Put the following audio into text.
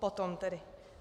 Potom tedy.